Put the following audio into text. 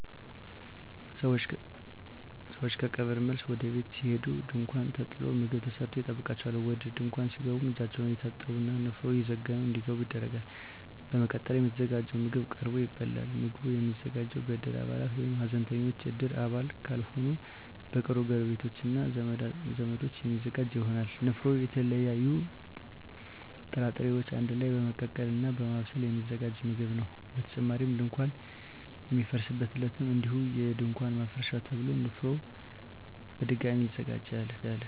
ሰወች ከቀብር መልስ ወደ ቤት ሲሄዱ ድንኳን ተጥሎ ምግብ ተሰርቶ ይጠብቃቸዋል። ወደ ድንኳን ሲገቡም እጃቸውን እየታጠቡ እና ንፍሮ እየዘገኑ እንዲገቡ ይደረጋል። በመቀጠልም የተዘጋጀው ምግብ ቀርቦ ይበላል። ምግቡ የሚዘጋጀው በእድር አባላት ወይም ሀዘንተኞች እድር አባል ካልሆኑ በቅርብ ጎረቤቶች እና ዘመዶች የሚዘጋጅ ይሆናል። ንፍሮ የተለያዩ ጥራጥሬወችን አንድ ላይ በመቀቀል እና በማብሰል የሚዘጋጅ ምግብ ነው። በተጨማሪም ድንኳን በሚፈርስበት ዕለትም እንዲሁ የድንኳን ማፍረሻ ተብሎ ንፍሮ በድጋሚ ይዘጋጃል።